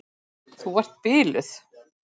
Þú ert biluð!